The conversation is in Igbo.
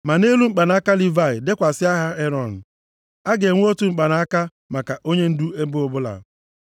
Ma nʼelu mkpanaka Livayị dekwasị aha Erọn. A ga-enwe otu mkpanaka maka onyendu ebo ọbụla.